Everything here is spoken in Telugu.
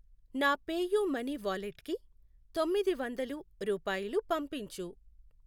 నా పేయూమనీ వాలెట్కి తొమ్మిది వందలు రూపాయలు పంపించు.